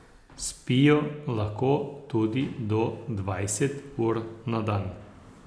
Spijo lahko tudi do dvajset ur na dan.